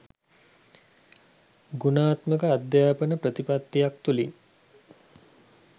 ගුණාත්මක අධ්‍යාපන ප්‍රතිපත්තියක් තුළින්